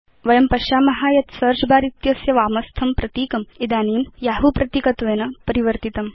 वयं पश्याम यत् सेऽर्च बर इत्यस्य वामस्थं प्रतीकम् इदानीं यहू प्रतीकत्वेन परिवर्तितम्